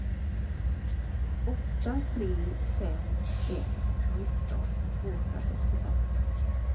åtta tre fem ett nitton tvåhundrasextiofem